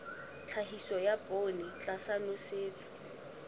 tlhahiso ya poone tlasa nosetso